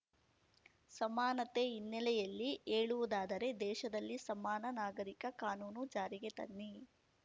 ಸಮಾನತೆ ಹಿನ್ನೆಲೆಯಲ್ಲಿ ಹೇಳುವುದಾದರೆ ದೇಶದಲ್ಲಿ ಸಮಾನ ನಾಗರಿಕ ಕಾನೂನು ಜಾರಿಗೆ ತನ್ನಿ